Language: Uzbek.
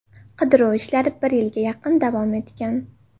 Qidiruv ishlari bir yilga yaqin davom etgan.